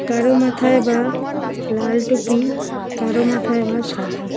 কারো মাথায় বা লাল টুপি কারো মাথায় বা সাদা।